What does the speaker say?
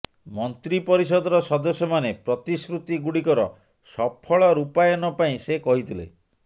ମନ୍ତ୍ରୀ ପରିଷଦର ସଦସ୍ୟମାନେ ପ୍ରତିଶ୍ରୁତି ଗୁଡିକର ସଫଳ ରୂପାୟନ ପାଇଁ ସେ କହିଥିଲେ